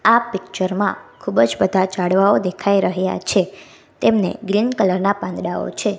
આ પિક્ચર માં ખૂબજ બધા ઝાડવાઓ દેખાય રહ્યા છે તેમને ગ્રીન કલર ના પાંદડાઓ છે.